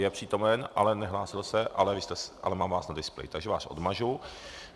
Je přítomen, ale nehlásil se, ale mám vás na displeji, takže vás odmažu.